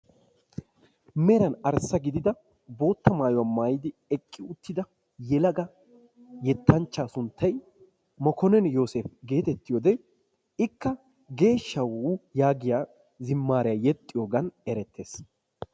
meran arssa gidida bootta mayuwaa maayidi eqqi uttida yettanchchaa sunttay mekonnin yoseepa getettiyoode ikka geeshshaw yaagiyaa zimaariyaa yeexiyoogan erettees.